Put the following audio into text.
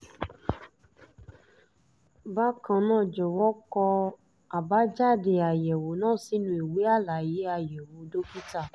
bákan náà jọ̀wọ́ kọ àbájáde àyẹ̀wò náà sínú ìwé àlàyé àyẹ̀wò dókítà